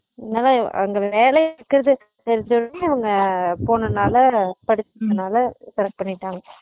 அங்க தான் அங்க வேல இருக்குறது தெருஞ்ச ஒடனே அவங்க போன நாலா படுச்சுருந்த நாலா correct பண்ணிட்டாங்க